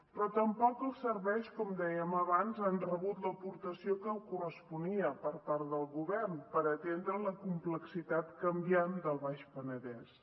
però tampoc els serveis com dèiem abans han rebut l’aportació que corresponia per part del govern per atendre la complexitat canviant del baix penedès